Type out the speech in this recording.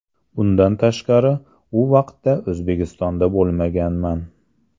Bundan tashqari u vaqtda O‘zbekistonda bo‘lmaganman.